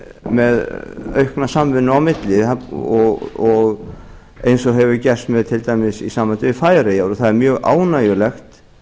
með aukna samvinnu á milli eins og hefur gerst til dæmis í sambandi við færeyjar það er mjög ánægjulegt